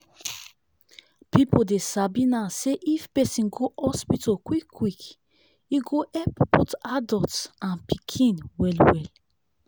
people dey sabi now say if person go hospital quick quick e go help both adults and pikin well well.